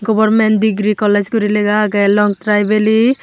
goverment degree college guri legha awge longtharai valley.